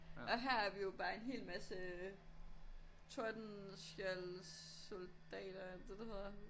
Og her er vi jo bare en hel masse øh Tordenskjolds soldater er det dét det hedder?